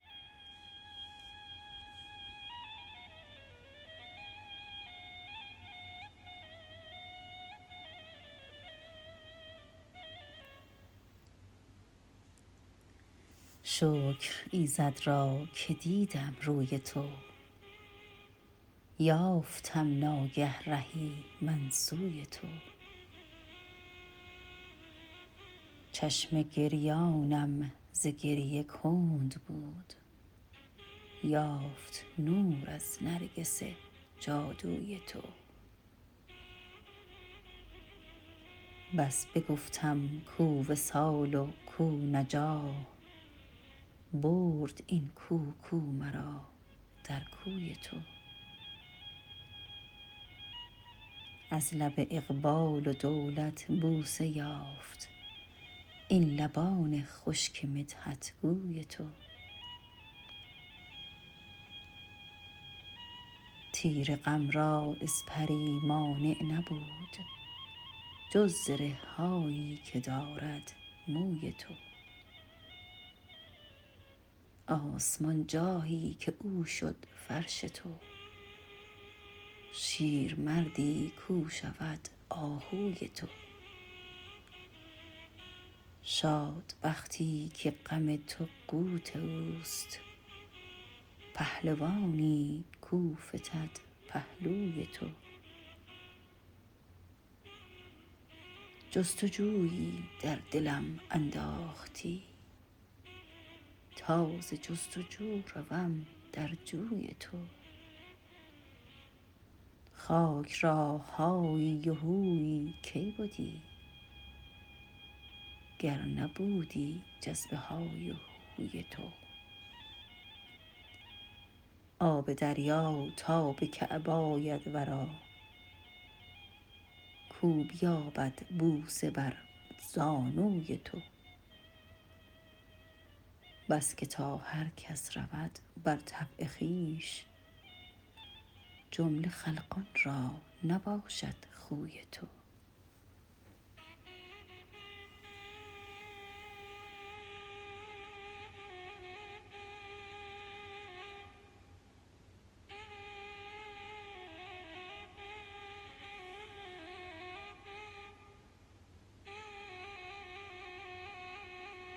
شکر ایزد را که دیدم روی تو یافتم ناگه رهی من سوی تو چشم گریانم ز گریه کند بود یافت نور از نرگس جادوی تو بس بگفتم کو وصال و کو نجاح برد این کو کو مرا در کوی تو از لب اقبال و دولت بوسه یافت این لبان خشک مدحت گوی تو تیر غم را اسپری مانع نبود جز زره هایی که دارد موی تو آسمان جاهی که او شد فرش تو شیرمردی کو شود آهوی تو شاد بختی که غم تو قوت اوست پهلوانی کو فتد پهلوی تو جست و جویی در دلم انداختی تا ز جست و جو روم در جوی تو خاک را هایی و هویی کی بدی گر نبودی جذب های و هوی تو آب دریا تا به کعب آید ورا کو بیابد بوسه بر زانوی تو بس که تا هر کس رود بر طبع خویش جمله خلقان را نباشد خوی تو